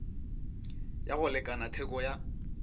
ya go lekana theko ya